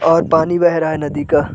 और पानी बेह रहा है नदी का --